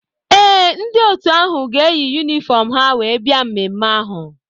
Ee, ndị otu ahụ ga-eyi yunifọm ha wee bia mmemme ahụ?